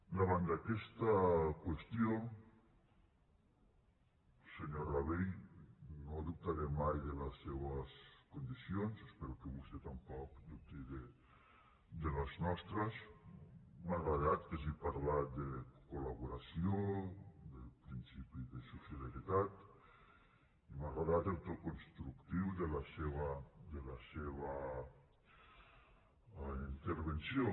davant d’aquesta qüestió senyor rabell no dubtaré mai de les seves condicions espero que vostè tampoc dubti de les nostres m’ha agradat que hagi parlat de col·laboració de principi de sociabilitat m’ha agradat el to constructiu de la seva intervenció